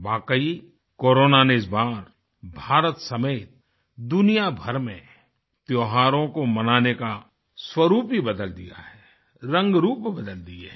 वाक़ई कोरोना ने इस बार भारत समेत दुनियाभर में त्योहारों को मनाने का स्वरुप ही बदल दिया है रंगरूप बदल दिए हैं